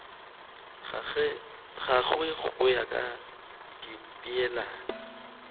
gagwe go ya ka dipeelano